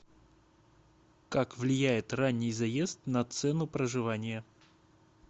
как влияет ранний заезд на цену проживания